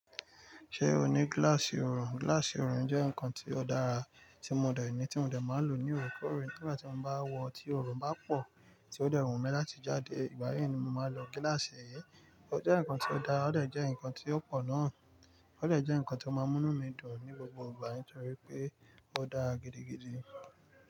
Ṣé o ní gíláàsì òòrùn? Gíláàsì òòrùn jẹ́ nǹkan tí ó dára tí mo dẹ̀ ní, tí mo dẹ̀ máa lò ní òòrèkòòrè nígbà tí mo bá wọ̀ tí òòrùn bá pọ̀, tí ó dẹ̀ wù mí láti jáde. Ìgbáyiì ni mo máa lọ gíláàsì ẹ́. Ó jẹ́ nǹkan tí ó dára, ó dẹ̀ jẹ́ nǹkan tí ó pọ̀ náà. Ó dẹ̀ jẹ́ nǹkan tí ó máa ń mú mí dùn ní gbogbo ìgbà nítorí pé ó dára gidigidi.